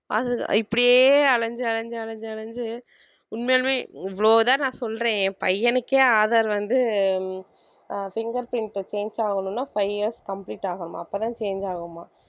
அது இப்படியே அலைஞ்சு அலைஞ்சு அலைஞ்சு அலைஞ்சு உண்மையாலுமே இவ்வளவுதான் நான் சொல்றேன் என் பையனுக்கே aadhar வந்து ஆஹ் fingerprint change ஆகணும்னா five years complete ஆகணும் அப்பதான் change ஆகுமாம்